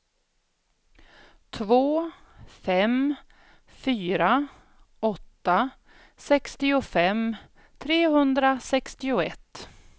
två fem fyra åtta sextiofem trehundrasextioett